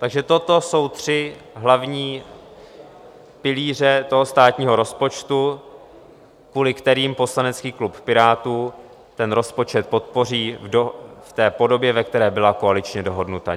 Takže toto jsou tři hlavní pilíře toho státního rozpočtu, kvůli kterým poslanecký klub Pirátů ten rozpočet podpoří v té podobě, ve které byla koaličně dohodnuta.